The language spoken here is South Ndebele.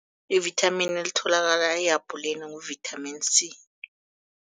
I-vitamin elithokala ehabhuleni ngu-vitamin C.